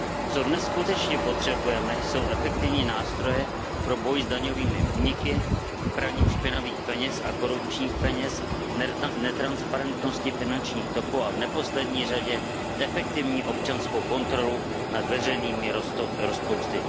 Co dnes skutečně potřebujeme, jsou efektivní nástroje pro boj s daňovými úniky, praním špinavých peněz a korupčních peněz, netransparentností finančních toků a v neposlední řadě efektivní občanská kontrola nad veřejnými rozpočty.